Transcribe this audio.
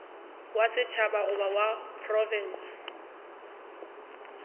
wa setšhaba goba wa profense